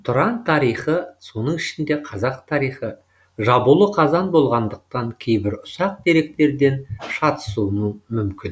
тұран тарихы соның ішінде қазақ тарихы жабулы қазан болғандықтан кейбір ұсақ деректерден шатысуым мүмкін